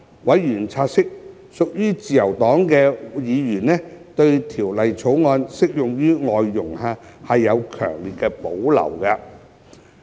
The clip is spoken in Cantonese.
委員察悉，屬自由黨的議員對《條例草案》適用於外傭有強烈保留。